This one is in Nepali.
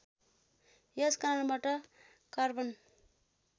यस कारणबाट कार्बन